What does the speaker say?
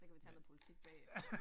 Så kan vi tage noget politik bagefter